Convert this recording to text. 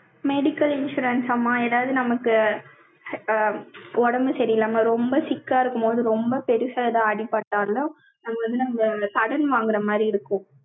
medical insurance ஆமா, ஏதாவது நமக்கு, அ, உடம்பு சரியில்லாம, ரொம்ப sick ஆ இருக்கும்போது, ரொம்ப பெருசா எதாவது அடிபட்டாலும், நம்ம வந்து, நம்ம, அந்த கடன் வாங்கற மாரி இருக்கும்